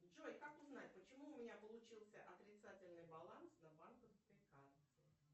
джой как узнать почему у меня получился отрицательный баланс на банковской карте